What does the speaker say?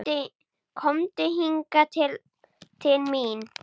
Komdu hingað til mín.